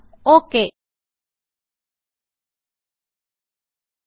okay click ചെയ്യുക